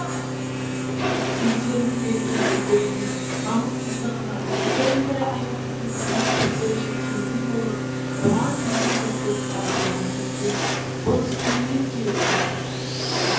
өздерінің берекесіздігіне намыссыздығына бірін бірі аямайтындығына көздері жеткендей болып біраз ежелесіп басылған кезде бұл іс кімнен келді